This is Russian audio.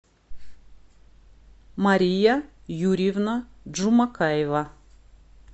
мария юрьевна джумакаева